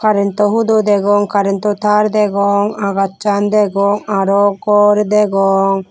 rento hudo degong karento tar degong agacchan degong arow gor degong.